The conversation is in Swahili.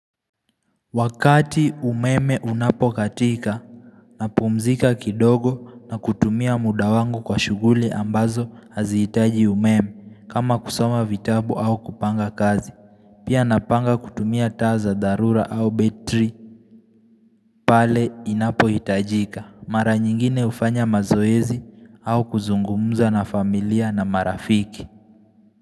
Wakati umeme unapokatika napumzika kidogo na kutumia muda wangu kwa shughuli ambazo hazihitaji umeme kama kusoma vitabu au kupanga kazi. Pia napanga kutumia taa za dharura au betri. Pale inapohitajika. Mara nyingine hufanya mazoezi au kuzungumuza na familia na marafiki.